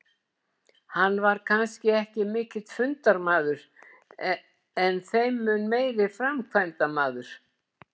Hann var kannski ekki mikill fundamaður en þeim mun meiri framkvæmdamaður.